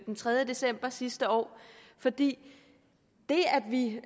den tredje december sidste år for det